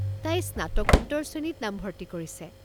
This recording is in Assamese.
তাই স্নাতকোত্তৰ শ্ৰেণীত নামভৰ্ত্তি কৰিছে।